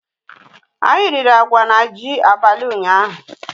Anyị riri agwa na ji abalị ụnyaahụ